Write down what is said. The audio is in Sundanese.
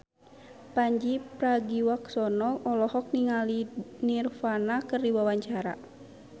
Pandji Pragiwaksono olohok ningali Nirvana keur diwawancara